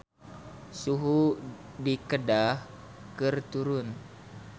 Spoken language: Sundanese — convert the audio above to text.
Suhu di Kedah keur turun